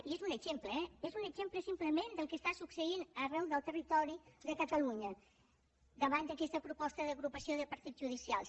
i és un exemple eh és un exemple simplement del que està succeint arreu del territori de catalunya davant d’aquesta proposta d’agrupació de partits judicials